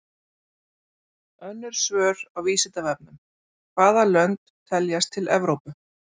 Önnur svör á Vísindavefnum: Hvaða lönd teljast til Evrópu?